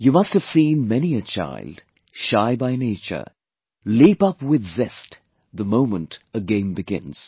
You must have seen many a child, shy by nature, leap up with zest, the moment a game begins